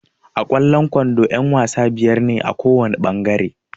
A kwallon kwando ƴan-wasa biyar ne kowana ɓangare.